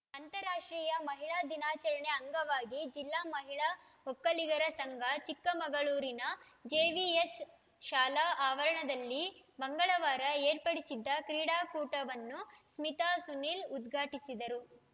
ಅಂತಾರಾಷ್ಟ್ರೀಯ ಮಹಿಳಾ ದಿನಾಚರಣೆ ಅಂಗವಾಗಿ ಜಿಲ್ಲಾ ಮಹಿಳಾ ಒಕ್ಕಲಿಗರ ಸಂಘ ಚಿಕ್ಕಮಗಳೂರಿನ ಜೆವಿಎಸ್‌ ಶಾಲಾ ಆವರಣದಲ್ಲಿ ಮಂಗಳವಾರ ಏರ್ಪಡಿಸಿದ್ದ ಕ್ರೀಡಾಕೂಟವನ್ನು ಸ್ಮಿತಾ ಸುನೀಲ್‌ ಉದ್ಘಾಟಿಸಿದರು